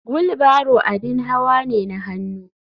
Wheel barrow abin hawa ne na hannu.